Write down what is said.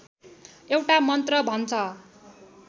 एउटा मन्त्र भन्छ